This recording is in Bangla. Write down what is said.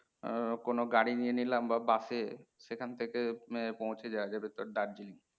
আহ কোণো গাড়ি নিয়ে নিলাম বা বাসে শেখা ঠেকে পৌঁছে যাওয়া যাবে Darjeeling